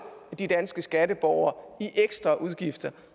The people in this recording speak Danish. de danske skatteborgere i ekstra udgifter